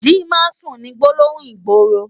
Ji másùn ni gbólóhún igbóró